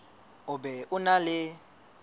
o be o na le